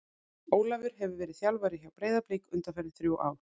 Ólafur hefur verið þjálfari hjá Breiðablik undanfarin þrjú ár.